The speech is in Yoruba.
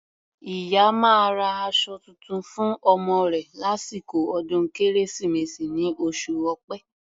Ìyá máa ra aṣọ tuntun fún ọmọ rẹ̀ lásìkò ọdún Kérésìmesì ní oṣù Ọ̀pẹ.